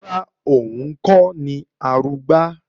Rárá, òun kọ́ ni Arugbá